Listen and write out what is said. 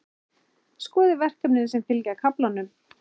Skoðið verkefnin sem fylgja kaflanum.